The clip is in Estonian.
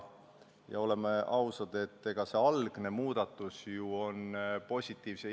Ja olgem ausad, et see algne muudatus on ju idee poolest positiivne.